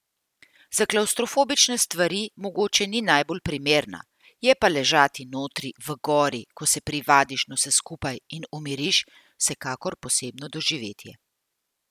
Za klavstrofobične stvar mogoče ni najbolj primerna, je pa ležati notri v gori, ko se privadiš na vse skupaj in umiriš, vsekakor posebno doživetje.